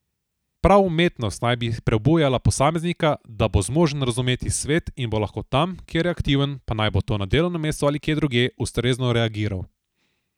Prav umetnost naj bi prebujala posameznika, da bo zmožen razumeti svet in bo lahko tam, kjer je aktiven, pa naj bo to na delovnem mestu ali kje drugje, ustrezno reagiral.